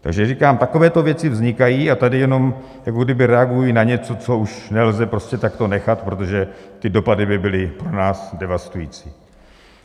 Takže říkám, takovéto věci vznikají a tady jenom jako kdyby reagují na něco, což už nelze prostě takto nechat, protože ty dopady by byly pro nás devastující.